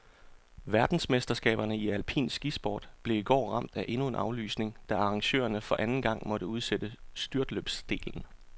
Verdensmesterskaberne i alpin skisport blev i går ramt af endnu en aflysning, da arrangørerne for anden gang måtte udsætte styrtløbsdelen.